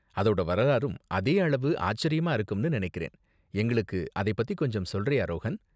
அதோட வரலாறும் அதே அளவு ஆச்சரியமா இருக்கும்னு நனைக்கிறேன், எங்களுக்கு அதை பத்தி கொஞ்சம் சொல்றியா, ரோஹன்?